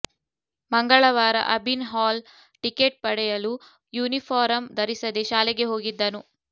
ಮಂಗಳವಾರ Abhin hall ticket ಪಡೆಯಲು uniform ಧರಿಸದೇ ಶಾಲೆಗೆ ಹೋಗಿದ್ದನು